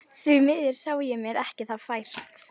Því miður sá ég mér það ekki fært.